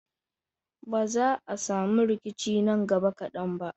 Ba za a sami rikici nan gaba kadan ba.